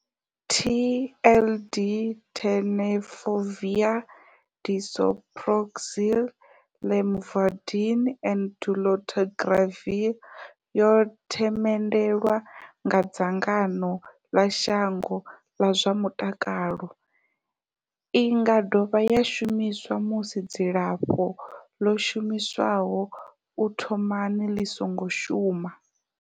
TLD, Tenofovir disoproxil, Lamivudine and dolutegravir, yo themendelwa nga dzangano ḽa shango ḽa zwa mutakalo. I nga dovha ya shumiswa musi dzilafho ḽo shumiswaho u thomani ḽi songo shuma.